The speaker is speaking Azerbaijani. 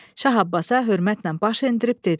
Şah Abbasa hörmətnən baş endirib dedi: